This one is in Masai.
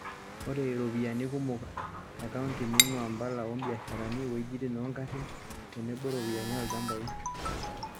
Ore iropiyiani kumok e kaonti neinguaa impala o mbiasharani, iwuejitin oo ngarin teneboropiyiani oolchambai.